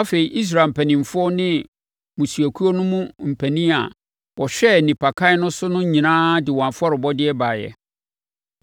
Afei, Israel mpanimfoɔ ne mmusuakuo no mu mpanin a wɔhwɛɛ nnipakan no so no nyinaa de wɔn afɔrebɔdeɛ baeɛ.